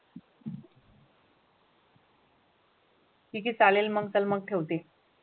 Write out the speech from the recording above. Tick आहे चालेल मग तर मग ठेवते.